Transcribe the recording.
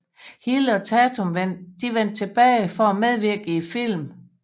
Hill og Tatum vendte tilbage for at medvirke i filmen